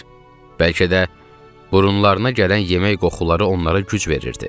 Bəlkə də burunlarına gələn yemək qoxuları onlara güc verirdi.